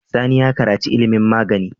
Sani ya karaci ilimin magani